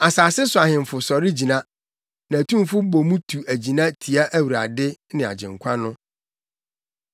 Asase so ahemfo sɔre gyina na atumfo bɔ mu tu agyina tia Awurade ne Agyenkwa no.